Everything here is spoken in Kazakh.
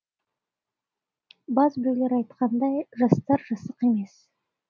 баз біреулер айтқандай жастар жасық емес